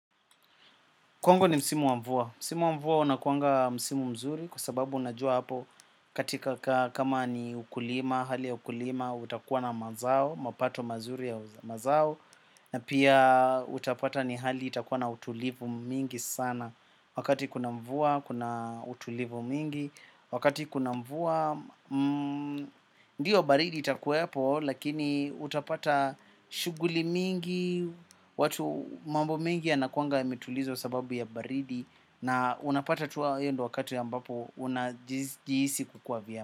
Kwangu ni msimu wa mvua. Msimu wa mvua unakuanga msimu mzuri kwa sababu unajua hapo katika kama ni ukulima, hali ya ukulima, utakuwa na mazao, mapato mazuri ya mazao, na pia utapata ni hali itakuwa na utulivu mingi sana. Wakati kuna mvua, kuna utulivu mingi. Wakati kuna mvua, ndiyo baridi itakuwepo. Lakini utapata shughuli mingi. Watu mambo mingi yanakuanga yametulizwa sababu ya baridi. Na unapata tu hiyo ndio wakati ambapo unajihisi kukuwa vyema.